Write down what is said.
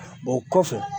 O kɔfɛ